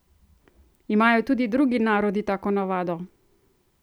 Imajo tudi drugi narodi tako navado?